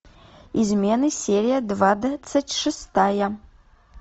измены серия двадцать шестая